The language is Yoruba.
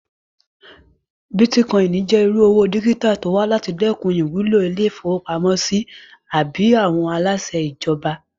Bítíkọ́ìnì jẹ́ irú owó dígítà tó wà láti dẹkùn ìwúlò ilé-ìfowópamọ́sí àbí àwọn aláṣẹ ìjọba